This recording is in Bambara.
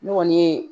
Ne kɔni ye